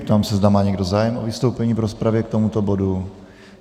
Ptám se, zda má někdo zájem o vystoupení v rozpravě k tomuto bodu.